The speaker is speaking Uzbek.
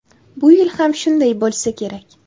Bu yil ham shunday bo‘lsa kerak.